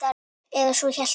Eða svo hélt hann.